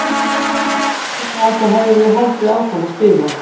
Ef ég gæti það þá hefði ég haldið áfram að spila!